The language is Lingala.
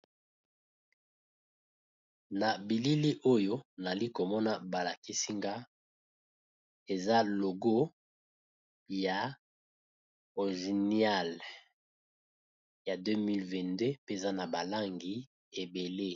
Na bilili oyo nali komona balakisinga eza logo ya ozenial ya 2022 mpenza na balangi ebele.